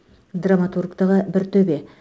драматургтығы бір төбе